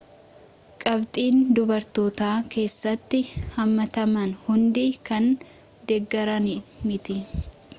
qabxiin dubartootaa keessatti hammataman hundi kan deeggaran miti